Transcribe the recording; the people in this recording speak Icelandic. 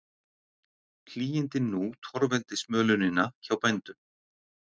Hlýindin nú torveldi smölunina hjá bændum